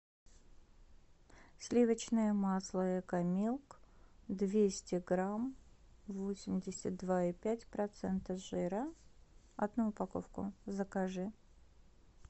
сливочное масло экомилк двести грамм восемьдесят два и пять процента жира одну упаковку закажи